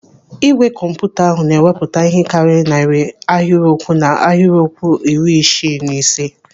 Igwe kọmputa ahụ na-ewepụta ihe karịrị narị ahịrịokwu na ahịrịokwu iri isii na ise.